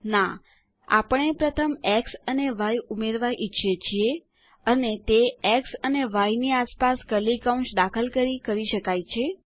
ના આપણે પ્રથમ એક્સ અને ય ઉમેરવા ઈચ્છીએ છીએ અને આપણે તે એક્સ અને ય ની આસપાસ કર્લી કૌંસ દાખલ કરી કરી શકીએ છીએ